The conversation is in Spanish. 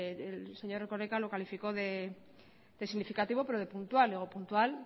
el señor erkoreka lo calificó de significativo pero de puntual puntual